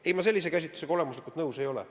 Aga ei, ma selle käsitlusega olemuslikult nõus ei ole.